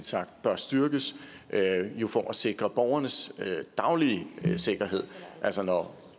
sagt bør styrkes for at sikre borgernes daglige sikkerhed altså når